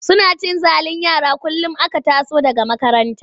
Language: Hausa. Suna cin zalin yara kullum aka taso daga makaranta.